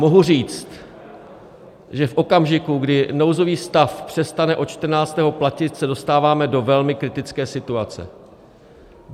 Mohu říct, že v okamžiku, kdy nouzový stav přestane od 14. platit, se dostáváme do velmi kritické situace.